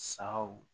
Sagaw